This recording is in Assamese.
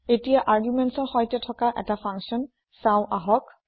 এতিয়া argumentsৰ সৈতে থকা এটা ফাংচন চাওঁ আহক